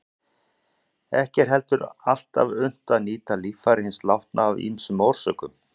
Ekki er heldur alltaf unnt að nýta líffæri hins látna af ýmsum orsökum.